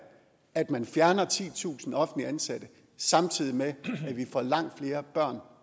at man fjerner titusind offentligt ansatte samtidig med at vi får langt flere børn